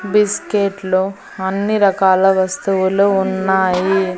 బిస్కెట్లు అన్ని రకాల వస్తువులు ఉన్నాయి.